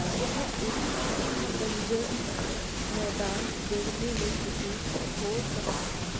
यह एक सूखा बंजर मैदान देखने में प्रतीत हो रहा है।